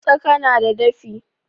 Tsaka na da dafi.